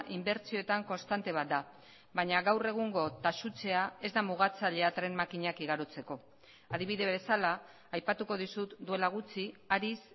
inbertsioetan konstante bat da baina gaur egungo taxutzea ez da mugatzailea tren makinak igarotzeko adibide bezala aipatuko dizut duela gutxi ariz